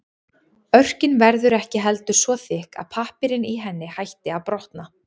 Örkin verður ekki heldur svo þykk að pappírinn í henni hætti að brotna.